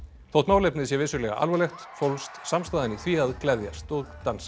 þótt málefnið sé vissulega alvarlegt fólst samstaðan í því að gleðjast og dansa